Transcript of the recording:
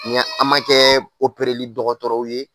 an ma kɛɛ li dɔgɔtɔrɔw ye